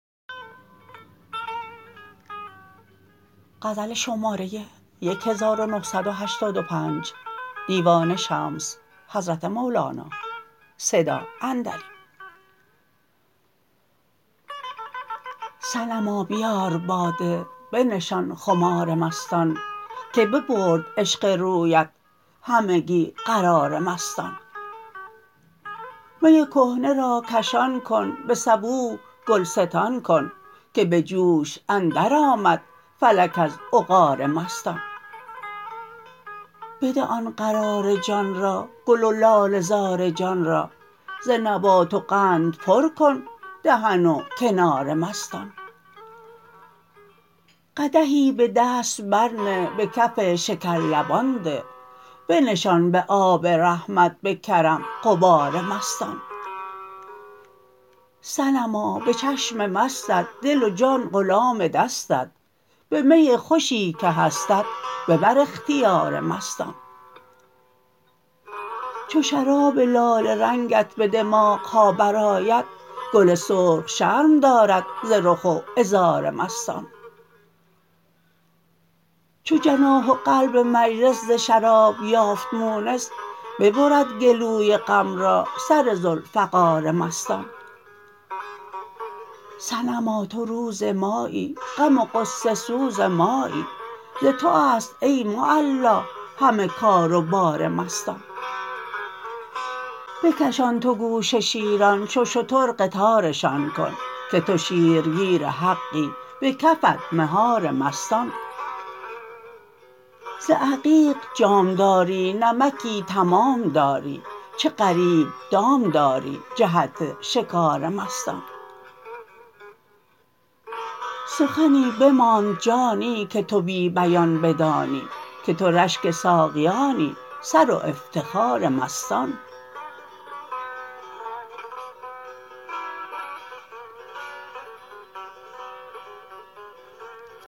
صنما بیار باده بنشان خمار مستان که ببرد عشق رویت همگی قرار مستان می کهنه را کشان کن به صبوح گلستان کن که به جوش اندرآمد فلک از عقار مستان بده آن قرار جان را گل و لاله زار جان را ز نبات و قند پر کن دهن و کنار مستان قدحی به دست برنه به کف شکرلبان ده بنشان به آب رحمت به کرم غبار مستان صنما به چشم مستت دل و جان غلام دستت به می خوشی که هستت ببر اختیار مستان چو شراب لاله رنگت به دماغ ها برآید گل سرخ شرم دارد ز رخ و عذار مستان چو جناح و قلب مجلس ز شراب یافت مونس ببرد گلوی غم را سر ذوالفقار مستان صنما تو روز مایی غم و غصه سوز مایی ز تو است ای معلا همه کار و بار مستان بکشان تو گوش شیران چو شتر قطارشان کن که تو شیرگیر حقی به کفت مهار مستان ز عقیق جام داری نمکی تمام داری چه غریب دام داری جهت شکار مستان سخنی بماند جانی که تو بی بیان بدانی که تو رشک ساقیانی سر و افتخار مستان